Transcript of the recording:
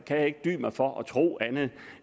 kan jeg ikke dy mig for at tro andet end